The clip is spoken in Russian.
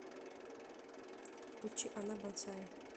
включи она бонсай